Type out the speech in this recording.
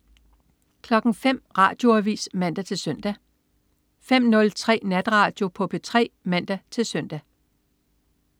05.00 Radioavis (man-søn) 05.03 Natradio på P3 (man-søn)